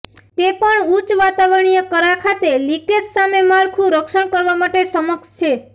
તે પણ ઉચ્ચ વાતાવરણીય કરા ખાતે લિકેજ સામે માળખું રક્ષણ કરવા સક્ષમ છે